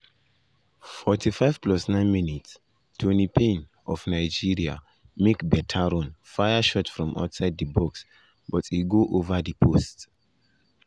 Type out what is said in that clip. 45+9 toni payne of nigeria make beta run fire shot from outside di box but e go over di post.